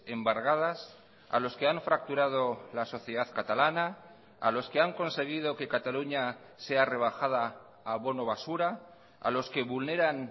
embargadas a los que han fracturado la sociedad catalana a los que han conseguido que cataluña sea rebajada a bono basura a los que vulneran